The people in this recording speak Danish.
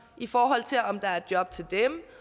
i forhold til om der er job til dem